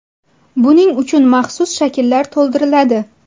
Buning uchun maxsus shakllar to‘ldiriladi.